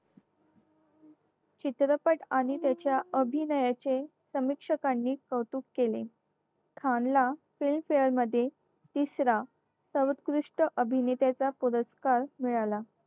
चित्रपट आणि त्याच्या अभिनयाचे समीक्षकांनी कौतुक केले खानला film fare मध्ये तिसरा सर्वोत्कृष्ट अभिनेताचा पुरस्कार मिळाला